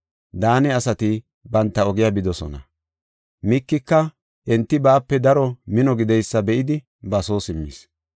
Daane asati banta ogiya bidosona. Mikika enti baape daro mino gideysa be7idi ba soo simmis.